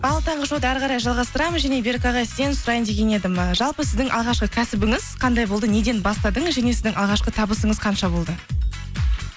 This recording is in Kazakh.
ал таңғы шоуды әрі қарай жалғастырамыз және берік ағай сізден сұрайын деген едім ы жалпы сіздің алғашқы кәсібіңіз қандай болды неден бастадыңыз және сіздің алғашқы табысыңыз қанша болды